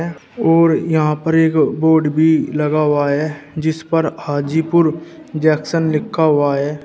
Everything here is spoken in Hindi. और यहां पर एक बोर्ड भी लगा हुआ है जिस पर हाजीपुर जंक्शन लिखा हुआ है।